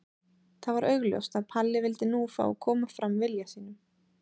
Það var augljóst að Palli vildi nú fá að koma fram vilja sínum.